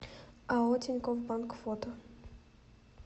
ао тинькофф банк фото